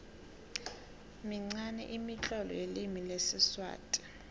minqani imitlolo yelimi lesiswati